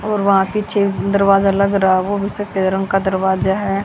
और वहां पीछे दरवाज़ा लग रहा वो सफ़ेद रंग का दरवाज़ा है।